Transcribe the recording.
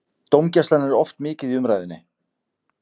Dómgæslan er oft mikið í umræðunni.